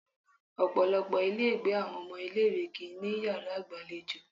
Ọ̀pọ̀lọpọ̀ ilé ìgbé àwọn ọmọ ilé ìwé kì ń ní yàrá ìgbàlejò.